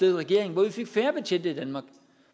regering hvor vi fik færre betjente i danmark